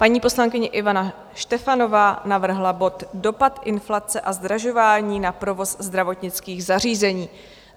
Paní poslankyně Ivana Štefanová navrhla bod Dopad inflace a zdražování na provoz zdravotnických zařízení.